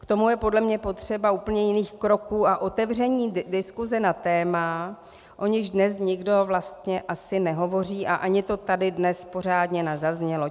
K tomu je podle mě potřeba úplně jiných kroků a otevření diskuse na témata, o nichž dnes nikdo vlastně asi nehovoří, a ani to tady dnes pořádně nezaznělo.